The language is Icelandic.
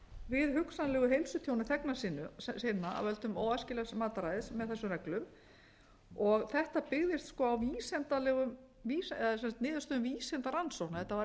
við hugsanlegu heilsutjóni þegna sinna af völdum óæskilegs mataræðis með þessum reglum þetta byggðist á niðurstöðum vísindarannsókna þetta var